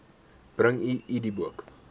bring u idboek